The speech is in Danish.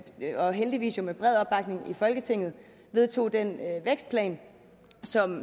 jo heldigvis med bred opbakning i folketinget vedtog den vækstplan som